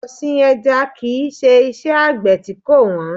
Ọ̀sìn ẹja kìí Ṣé iṣẹ́ Àgbẹ̀ tí kò wọ́n.